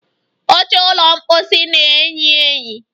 Oche ụlọ mposi na-eyi eyi